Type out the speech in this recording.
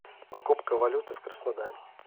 покупка валюты в краснодаре